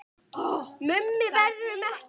Mummi værum ekki.